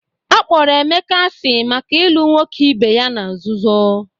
Akpọrọ Emeka asị maka ịlụ nwoke ebe ya na nzuzo